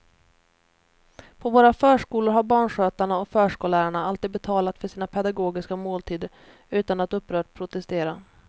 På våra förskolor har barnskötarna och förskollärarna alltid betalat för sina pedagogiska måltider utan att upprört protestera.